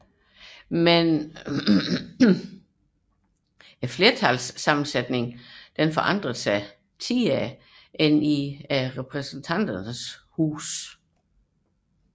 Men flertalskonstellationerne ændrede sig hyppigere end i Repræsentanternes Hus